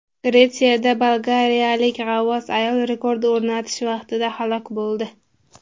Gretsiyada bolgariyalik g‘avvos ayol rekord o‘rnatish vaqtida halok bo‘ldi.